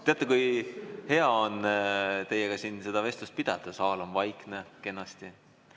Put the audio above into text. Teate, kui hea on teiega siin seda vestlust pidada, saal on kenasti vaikne.